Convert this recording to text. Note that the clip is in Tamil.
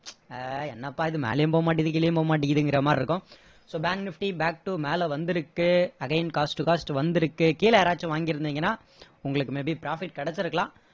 ஆஹ் என்னப்பா இது மேலயும் போக மாட்டேங்குது கீழேயும் போக மாட்டேங்குதுங்கிற மாதிரி இருக்கும் so bank nifty back to மேல வந்திருக்கு again cost to cost வந்துருக்கு கீழ யாராச்சும் வாங்கி இருந்திங்கன்னா உங்களுக்கு may be profit கிடைச்சிருக்கலாம்